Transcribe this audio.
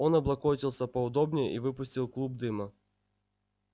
он облокотился поудобнее и выпустил клуб дыма